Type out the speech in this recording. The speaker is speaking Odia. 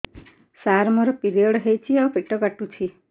ସାର ମୋର ପିରିଅଡ଼ ହେଇଚି ଆଉ ପେଟ କାଟୁଛି